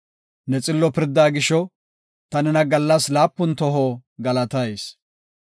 Ne xillo pirdaa gisho, ta nena gallas laapun toho galatayis.